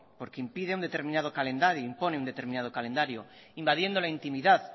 porque impone un determinado calendario invadiendo la intimidad